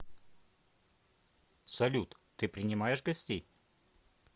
салют ты принимаешь гостей